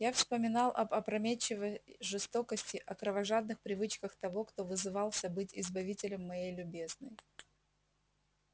я вспоминал об опрометчивой жестокости о кровожадных привычках того кто вызывался быть избавителем моей любезной